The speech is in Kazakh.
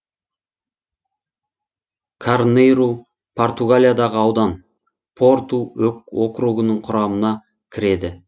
карнейру португалиядағы аудан порту округінің құрамына кіреді